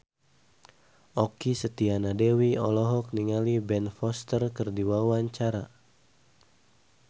Okky Setiana Dewi olohok ningali Ben Foster keur diwawancara